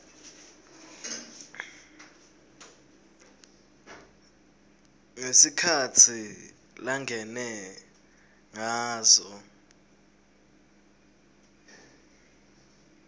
ngesikhatsi langene ngaso